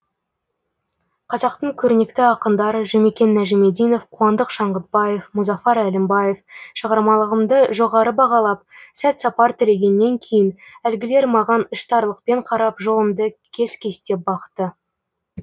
қазақтың көрнекті ақындары жұмекен нәжімиденов қуандық шаңғытбаев мұзафар әлімбаев шығармалығымды жоғары бағалап сәт сапар тілегеннен кейін әлгілер маған іштарлықпен қарап жолымды кес кестеп бақты